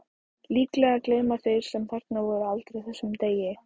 Líklega gleyma þeir sem þarna voru aldrei þessum degi.